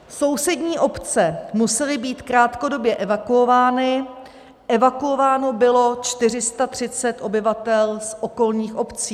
Sousední obce musely být krátkodobě evakuovány, evakuováno bylo 430 obyvatel z okolních obcí.